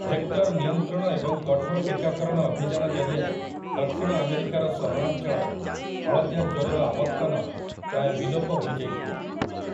Vector ନିୟନ୍ତ୍ରଣ ଏବଂ କଠୋର ଟୀକାକରଣ ଅଭିଯାନ ଜରିଆରେ ଦକ୍ଷିଣ ଆମେରିକାର ସହରାଞ୍ଚଳରେ ହଳଦିଆ ଜ୍ୱରର ଆବର୍ତ୍ତନ ପ୍ରାୟ ବିଲୋପ ହୋଇଯାଇଥିଲା ।